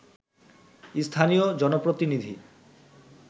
স্থানীয় জনপ্রতিনিধি